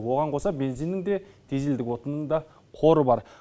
оған қоса бензиннің де дизельдік отынның да қоры бар